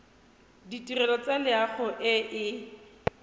ditirelo tsa loago e e